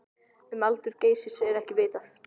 Um aldur Geysis er ekki vitað.